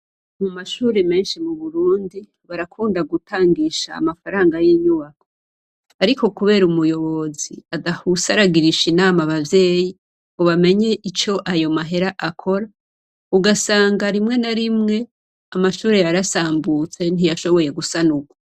Mumashure menshi muburundi barakunda gutangisha amafaranga yinyubako. Ariko kubera umuyobozi adahuse aragirisha inama abavyeyi ngo bamenye ico ayo mahera akora ugasanga rimwe na rimwe amashure yarasambutse ntiyashoboye gusanurwa.